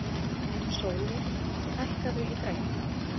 Sóli, hækkaðu í græjunum.